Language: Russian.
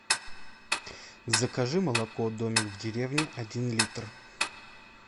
закажи молоко домик в деревне один литр